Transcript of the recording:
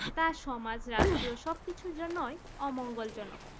তা সমাজ রাষ্ট্রীয় সব কিছুর জন্যই অমঙ্গল জনক